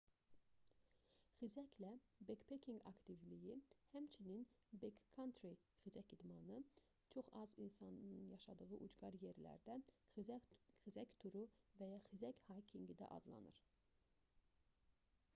xizəklə bekpekinq aktivliyi həmçinin bek-kantri xizək idmanı çox az insanın yaşadığı ucqar yerlərdə xizək turu və ya xizək haykinqi yürüyüşü də adlanır